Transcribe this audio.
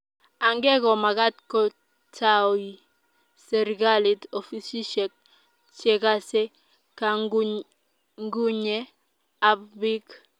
age' ko magat ko taoi serikalit ofisishek che gasee kangunyngunye ab piik